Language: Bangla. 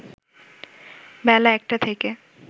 বেলা ১টা থেকে